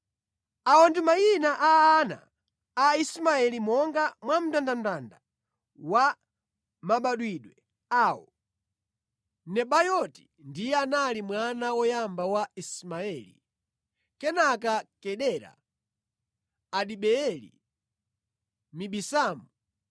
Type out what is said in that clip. Awa ndi mayina a ana a Ismaeli monga mwa mndandanda wa mabadwidwe awo: Nebayoti ndiye anali mwana woyamba wa Ismaeli; kenaka Kedara, Adibeeli, Mibisamu,